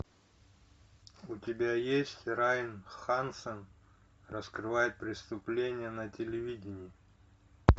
у тебя есть райан хансон раскрывает преступления на телевидении